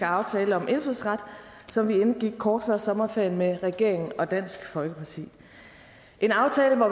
aftale om indfødsret som vi indgik kort før sommerferien med regeringen og dansk folkeparti en aftale hvor